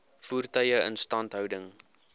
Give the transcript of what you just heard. voertuie instandhouding